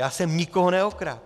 Já jsem nikoho neokradl.